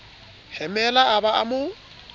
hemela a ba a mo